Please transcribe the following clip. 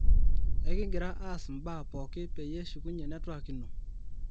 ekigira aas mbaa pooki peyie eshukunye network ino